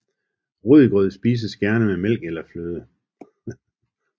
Rødgrød spises gerne med mælk eller fløde